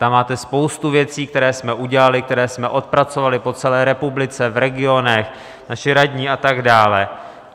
Tam máte spoustu věcí, které jsme udělali, které jsme odpracovali po celé republice, v regionech, naši radní a tak dále.